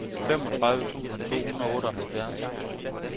femogtredive tusind to hundrede og otteoghalvfjerds